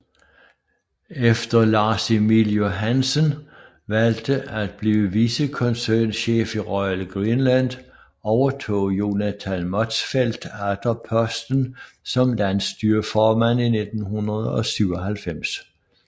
Efter Lars Emil Johansen valgte at blive vicekoncernchef i Royal Greenland overtog Jonathan Motzfeldt atter posten som landsstyreformand i 1997